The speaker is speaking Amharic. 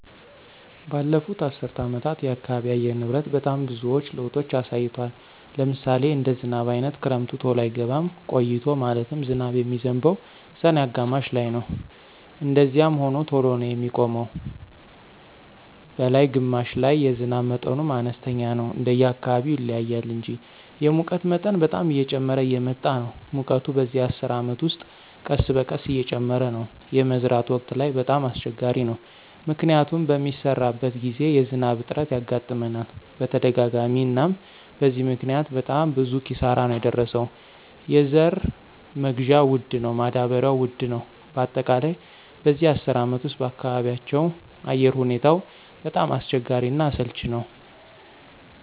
በለፉት አሰር አመታት የአካባቢ አየር ንብረት በጣም ብዙዎች ለውጦች አሳይቷል። ለምሳሌ እንደ ዝናብ አይነት ክረምቱ ተሎ አይገባም ቆይቶ ማለትም ዝናብ የሚዝንበው ሰኔ አጋማሽ ላይነው እንደዛዚያም ሆኖ ተሎ ነው የሚቆመው ነላይ ግማሽ ላይ የዝናብ መጠኑም አነስተኛ ነው እንደየ አካባቢው ይለያያል እንጂ። የሙቀት መጠን በጣም እየጨመረ እየመጣ ነው ሙቀቱ በዚህ አስር አመት ውስጥ ቀስበቀስ እየጨመረ ነው። የመዝራት ወቅት ላይ በጣም አሰቸጋሪ ነው። ምክንያቱም በሚሰራበት ግዜ የዝናብ እጥረት ያጋጥመናል በተደጋጋሚ አናም በዚህ ምክኒያት በጣም ብዙ ኪሳራ ነው የደረሰው የዘራ መግዢያ ወድ ነው ማዳበሪው ውድ ነው በአጠቃላይ በዚህ አስር አመት ውስጥ በአካባቢያቸው አየር ሁኔታው በጣም አስቸጋሪ እና አሰልች ነወ።